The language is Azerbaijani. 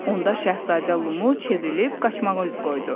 Onda şahzadə Lulu çevrilib qaçmağa üz qoydu.